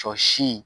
Sɔ si